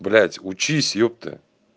блядь учись ёпты